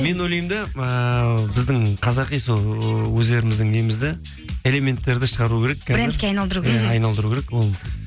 мен ойлаймын да ііі біздің қазақи сол өздеріміздің немізді элементтерді шығару керек брендте айналдыру айналдыру керек ол